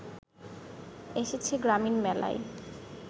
এসেছে গ্রামীণ মেলায়